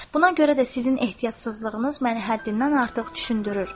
Buna görə də sizin ehtiyatsızlığınız məni həddindən artıq düşündürür.